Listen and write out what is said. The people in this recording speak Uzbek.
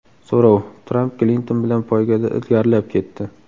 So‘rov: Tramp Klinton bilan poygada ilgarilab ketdi.